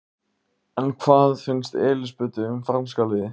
En hvað finnst Elísabetu um franska liðið?